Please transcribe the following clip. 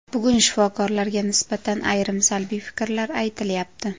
Bugun shifokorlarga nisbatan ayrim salbiy fikrlar aytilyapti.